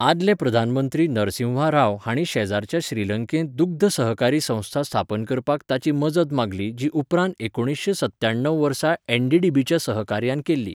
आदले प्रधानमंत्री नरसिंहा राव हांणी शेजराच्या श्रीलंकेंत दुग्ध सहकारी संस्था स्थापन करपाक ताची मजत मागली जी उपरांत एकुणीसशें सत्त्याणव वर्सा एनडीडीबीच्या सहकार्यान केल्ली.